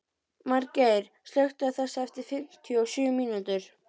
Margeir, slökktu á þessu eftir fimmtíu og sjö mínútur.